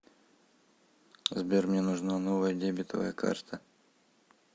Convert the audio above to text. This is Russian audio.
сбер мне нужна новая дебетовая карта